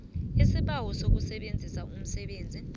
isibawo sokusebenzisa umsebenzi